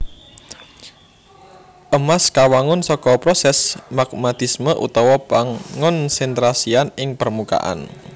Emas kawangun saka prosès magmatisme utawa pangonsentrasian ing permukaan